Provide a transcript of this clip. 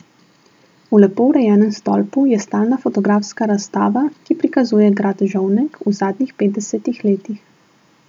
V lepo urejenem stolpu je stalna fotografska razstava, ki prikazuje grad Žovnek v zadnjih petdesetih letih.